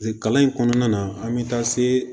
Kalan in kɔnɔna na an bɛ taa se